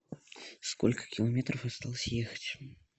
сколько километров осталось ехать